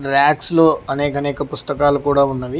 Racks లో అనేక అనేక పుస్తకాలు కూడా ఉన్నవి.